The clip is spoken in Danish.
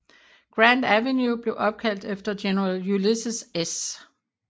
Grant Avenue blev opkaldt efter General Ulysses S